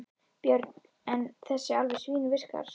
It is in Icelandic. Björn: En þessi alveg svínvirkar?